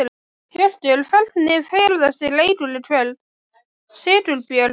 Hjörtur: Hvernig fer þessi leikur í kvöld, Sigurbjörn?